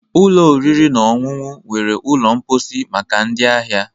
Ụlọ oriri na ọṅụṅụ nwere ụlọ mposi maka ndị ahịa